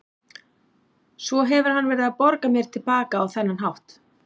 Svo hefur hann verið að borga mér til baka á þennan hátt.